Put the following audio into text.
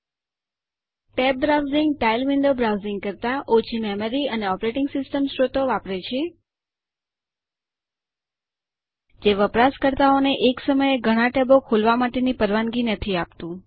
tabbed browsing tiled window browsing કરતા ઓછી memory અને ઓપરેટિંગ સિસ્ટમ સ્રોતો વાપરે છે જે વપરાશકર્તાઓને એક સમયે ઘણા ટેબો ખોલવા માટેની પરવાનગી નથી આપતું